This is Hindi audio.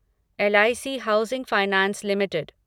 LIC housing finance limited